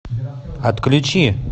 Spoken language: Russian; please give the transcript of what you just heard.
отключи